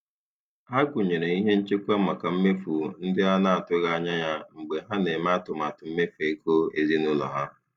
Ha gụnyere ihe nchekwa maka mmefu ndị a na-atụghị anya ya mgbe ha na-eme atụmatụ mmefu ego ezinụlọ ha.